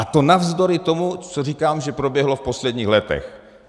A to navzdory tomu, co říkám, že proběhlo v posledních letech.